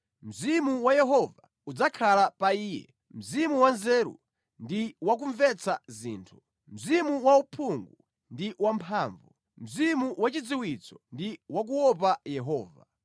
Mzimu wa Yehova udzakhala pa iye Mzimu wanzeru ndi wa kumvetsa zinthu, Mzimu wauphungu ndi wamphamvu, Mzimu wachidziwitso ndi wakuopa Yehova.